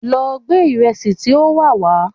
Lọ gbé ìrẹsì tí ó wà wá!